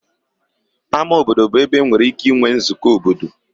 Ama obodo bụ ebe enwere ike inwe nzukọ obodo.